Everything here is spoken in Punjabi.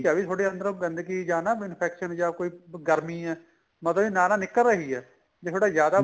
ਆ ਵੀ ਤੁਹਾਡੇ ਅੰਦਰੋ ਗੰਦਗੀ ਜਾਂ ਨਾ infection ਜਾਂ ਕੋਈ ਗਰਮੀ ਏ ਮਤਲਬ ਨਾਲ ਨਾਲ ਨਿਕਲ ਰਹੀ ਏ ਜੇ ਤੁਹਾਡਾ ਜਿਆਦਾ